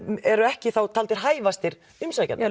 eru ekki þá taldir hæfastir umsækjenda